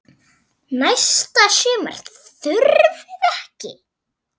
Næsta sumar þurfið þið ekki.